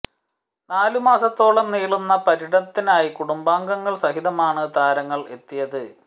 നാലു മാസത്തോളം നീളുന്ന പര്യടനത്തിനായി കുടുംബാംഗങ്ങൾ സഹിതമാണ് താരങ്ങൾ എത്തിയത്